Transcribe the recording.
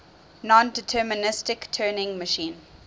nondeterministic turing machine